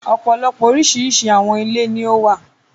ọ̀pọ̀lọpọ̀ oríṣiríṣi àwọn ilé ni ó wà.